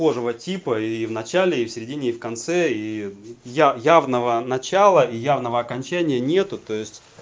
схожего типа и в начале и в середине и в конце и я явного начала и явного окончания нет то есть